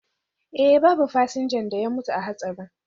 Eh, babu fasinja da ya mutu a hatsarin